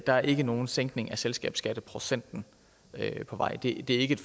der ikke er nogen sænkning af selskabsskatteprocenten på vej at det ikke er